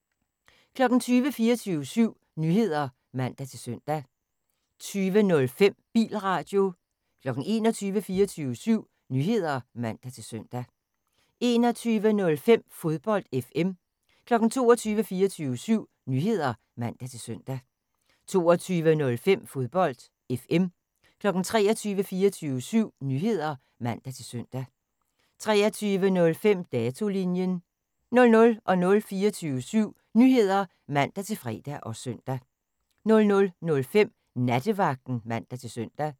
20:00: 24syv Nyheder (man-søn) 20:05: Bilradio 21:00: 24syv Nyheder (man-søn) 21:05: Fodbold FM 22:00: 24syv Nyheder (man-søn) 22:05: Fodbold FM 23:00: 24syv Nyheder (man-søn) 23:05: Datolinjen 00:00: 24syv Nyheder (man-fre og søn) 00:05: Nattevagten (man-søn)